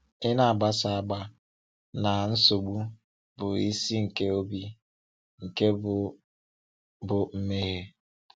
Ị na-agbasa agba na nsogbu bụ isi nke obi, nke bụ bụ mmehie.